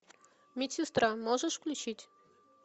медсестра можешь включить